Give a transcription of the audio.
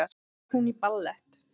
Er hún í ballett?